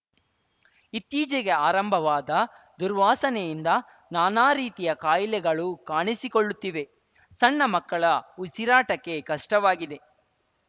ಇತ್ತೀಚೆಗೆ ಆರಂಭವಾದ ದುರ್ವಾಸನೆಯಿಂದ ನಾನಾ ರೀತಿಯ ಕಾಯಿಲೆಗಳು ಕಾಣಿಸಿಕೊಳ್ಳುತ್ತಿವೆ ಸಣ್ಣ ಮಕ್ಕಳ ಉಸಿರಾಟಕ್ಕೆ ಕಷ್ಟವಾಗಿದೆ